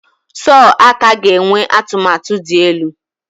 Sọọ aka ga-enwe atụmatụ dị elu.